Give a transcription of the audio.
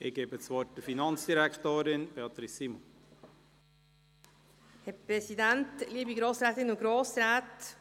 Ich erteile der Finanzdirektorin, Beatrice Simon, das Wort.